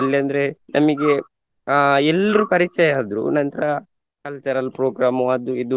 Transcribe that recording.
ಅಲ್ಲಂದ್ರೆ ನಮಿಗೆ ಅಹ್ ಎಲ್ರು ಪರಿಚಯ ಆದ್ರು ನಂತ್ರ cultural program ಅದು ಇದು.